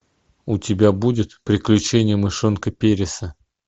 у тебя будет приключения мышонка переса